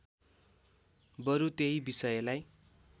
बरु त्यही विषयलाई